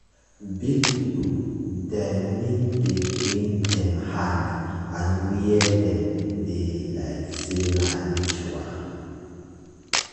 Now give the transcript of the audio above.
big people dem need dey clean dem hand and where dem dey like say na ritual.